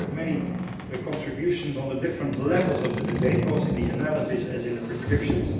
I have heard many contributions on the different levels of the debate both in the analysis and in the prescriptions.